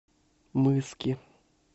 мыски